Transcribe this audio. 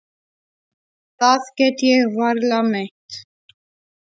Það get ég varla meint.